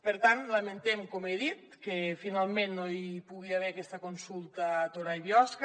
per tant lamentem com he dit que finalment no hi pugui haver aquesta consulta a torà i biosca